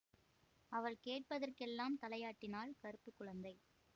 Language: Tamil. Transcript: அவள் கேட்பதற்கெல்லாம் தலையாட்டினாள் கறுப்பு குழந்தை